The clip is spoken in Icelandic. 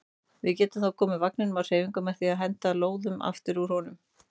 Við getum þá komið vagninum á hreyfingu með því að henda lóðum aftur úr honum.